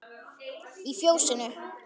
Í Fjósinu